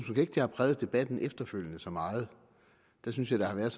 ikke det har præget debatten efterfølgende så meget dér synes jeg der har været